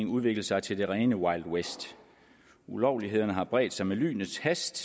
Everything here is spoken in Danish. udviklet sig til det rene wild west ulovlighederne har bredt sig med lynets hast